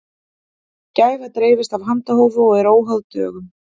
gæfa dreifist af handahófi og er óháð dögum